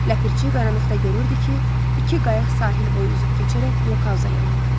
Ləpirçi qaranlıqda görürdü ki, iki qayıq sahil boyu üzüb keçərək blokauza yanaltdı.